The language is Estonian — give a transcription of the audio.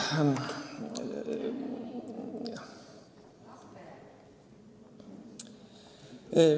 Ohh!